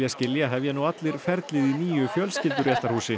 skilja hefja nú allir ferlið í nýju